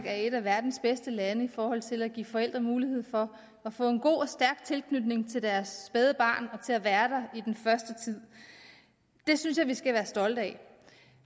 er et af verdens bedste lande i forhold til at give forældre mulighed for at få en god og stærk tilknytning til deres spædbarn og til at være der i den første tid det synes jeg vi skal være stolte af